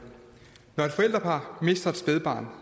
når et forældrepar mister et spædbarn